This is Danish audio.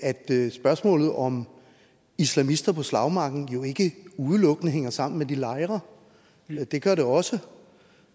spørgsmålet om islamister på slagmarken jo ikke udelukkende hænger sammen med de lejre det gør det også